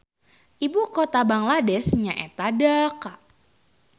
Ibu kota Bangladesh nyaeta Dhaka